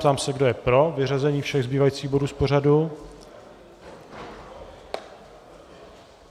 Ptám se, kdo je pro vyřazení všech zbývajících bodů z pořadu.